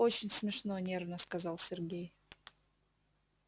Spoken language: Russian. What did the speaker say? очень смешно нервно сказал сергей